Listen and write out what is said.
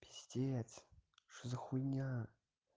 пиздец что за хуйня